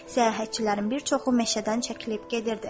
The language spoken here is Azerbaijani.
Səyahətçilərin bir çoxu meşədən çəkilib gedirdi.